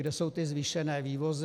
Kde jsou ty zvýšené vývozy?